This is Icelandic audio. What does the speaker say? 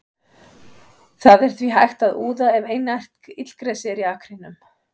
Það er því hægt að úða ef einært illgresi er í akrinum.